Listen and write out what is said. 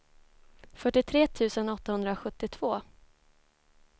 fyrtiotre tusen åttahundrasjuttiotvå